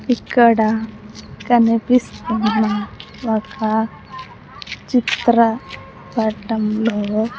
ఇక్కడ కనిపిస్తున్న ఒక చిత్ర పటంలో.